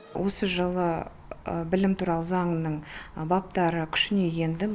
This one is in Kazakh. осы жылы білім туралы заңның баптары күшіне енді